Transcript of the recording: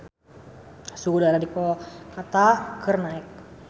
Suhu udara di Kolkata keur naek